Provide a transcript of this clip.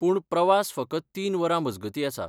पूण, प्रवास फकत तीन वरां मजगतीं आसा.